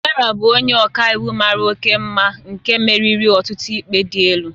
Sarah bụ onye ọka iwu mara oke mma nke meriri ọtụtụ ikpe dị elu